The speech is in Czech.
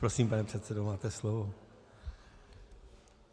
Prosím, pane předsedo, máte slovo.